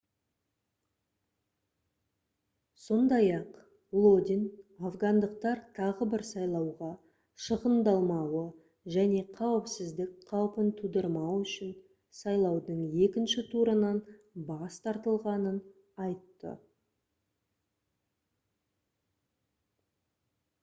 сондай-ақ лодин афгандықтар тағы бір сайлауға шығындалмауы және қауіпсіздік қаупін тудырмау үшін сайлаудың екінші турынан бас тартылғанын айтты